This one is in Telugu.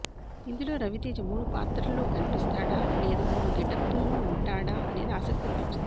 ఇందులో రవితేజ మూడు పాత్రల్లో కనిపిస్తాడా లేదా మూడు గెటప్లలో వుంటాడా అనేది ఆసక్తిని పెంచుతోంది